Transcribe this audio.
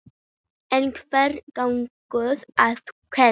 En hvernig gengur að kenna?